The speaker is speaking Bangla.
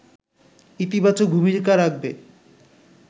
ইতিবাচক ভূমিকা রাখবে